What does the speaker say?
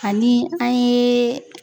Ani an yee